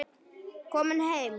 Komin heim?